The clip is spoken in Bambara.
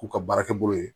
K'u ka baara kɛ bolo ye